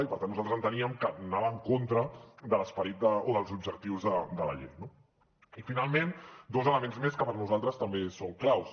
i per tant nosaltres enteníem que anava en contra de l’esperit o dels objectius de la llei no i finalment dos elements més que per nosaltres també són claus